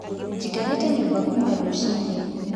Njikarĩte nyũmba kuma rũcinĩ.